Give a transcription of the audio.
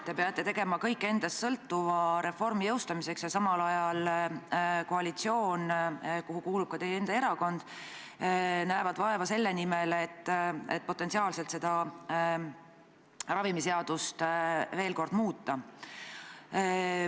Te peate tegema kõik endast sõltuva reformi läbiviimiseks ja samal ajal näeb koalitsioon, kuhu kuulub ka teie enda erakond, vaeva selle nimel, et ravimiseadust veel kord muuta.